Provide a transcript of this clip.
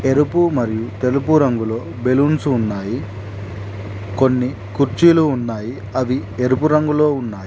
ఎరుపు మరియు తెలుపు రంగులో బెలూన్స్ ఉన్నాయి కొన్ని కుర్చీలు ఉన్నాయి అవి ఎరుపు రంగులో ఉన్నాయి.